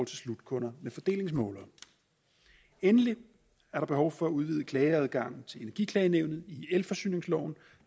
til slutkunder med fordelingsmålere endelig er der behov for at udvide klageadgangen til energiklagenævnet i elforsyningsloven